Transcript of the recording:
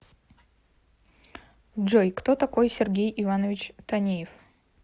джой кто такой сергей иванович танеев